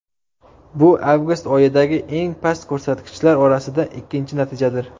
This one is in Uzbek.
Bu avgust oyidagi eng past ko‘rsatkichlar orasida ikkinchi natijadir.